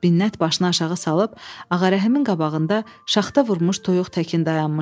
Binət başını aşağı salıb, Ağarəhimin qabağında şaxta vurmuş toyuq təkin dayanmışdı.